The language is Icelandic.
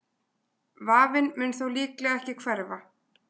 Vafinn mun þó líklega ekki hverfa.